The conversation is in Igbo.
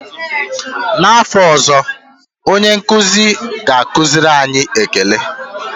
N'afọ ọzọ, onye nkụzi ọ ga-akụziri anyị ékélé?